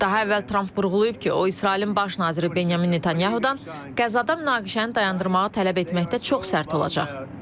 Daha əvvəl Tramp vurğulayıb ki, o İsrailin baş naziri Benyamin Netanyahu-dan Qəzzada münaqişəni dayandırmağı tələb etməkdə çox sərt olacaq.